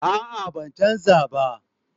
A'a ban canja ba